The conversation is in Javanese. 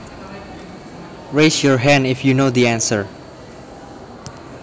Raise your hand if you know the answer